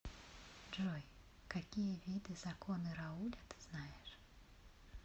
джой какие виды законы рауля ты знаешь